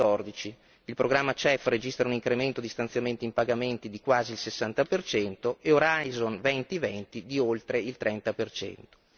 2014. Il programma CEF registra un incremento di stanziamenti in pagamenti di quasi il 60 per cento e Horizon 2020 di oltre il 30 per cento.